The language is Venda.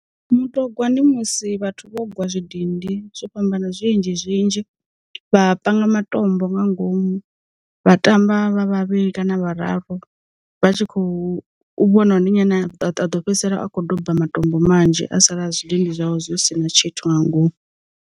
Muṱogwa ndi musi vhathu vho ugwa zwidindi zwo fhambana zwinzhi zwinzhi vha panga matombo nga ngomu, vha tamba vha vhavhili kana vhararu, vha tshi khou vhona u ndi nyi ane a ḓo fhedzisela a kho doba matombo manzhi a sala zwidindi zwawe zwi si na tshithu nga ngomu.